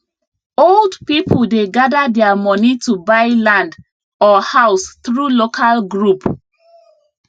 old people dey gather their money to buy land or house through local group